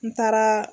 N taaraa